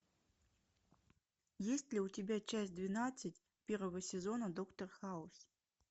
есть ли у тебя часть двенадцать первого сезона доктор хаус